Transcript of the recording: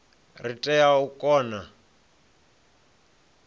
ri tea u kona u